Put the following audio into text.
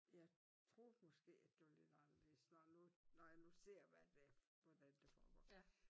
Jeg troede måske at det var lidt anderledes når nu når jeg nu ser hvad det hvordan det foregår